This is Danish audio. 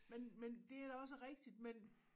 Men men det er da også rigtigt men